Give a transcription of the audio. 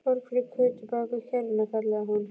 Borg fyrir Kötu bakvið kerruna! kallaði hún.